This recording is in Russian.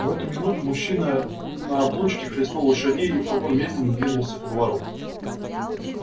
в эту минуту мужчина на облучке хлестнул лошадей и фургон медленно двинулся ко двору